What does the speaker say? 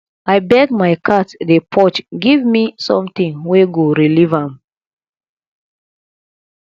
abeg my cat dey purge give me something wey go relieve am